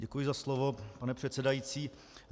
Děkuji za slovo, pane předsedající.